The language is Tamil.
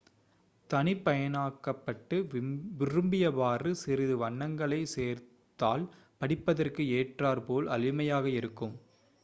தனிப்பயனாக்கப்பட்டு விரும்பியவாறு சிறிது வண்ணங்களை சேர்த்தால் படிப்பதற்கு ஏற்றாற்போல் எளிமையாக இருக்கும்